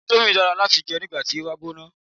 Indomie dára láti jẹ nígbàti o bá gbóná